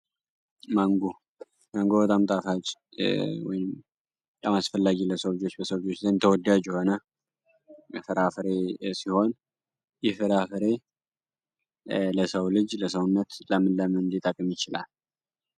ስነስርዓቶችን ለምሳሌ ልክ እንደሌላት ማንጎ ለሰዎች ተወዳና ቸውን ለሰው ልጅ ለሰውነት ለምን ለምን አቅም ይችላል።